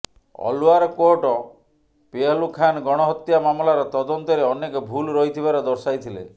ଅଲଓ୍ବାର court Pehlu Khan ଗଣ ହତ୍ୟା ମାମଲାର ତଦନ୍ତରେ ଅନେକ ଭୁଲ୍ ରହିଥିବାର ଦର୍ଶାଇଥିଲେ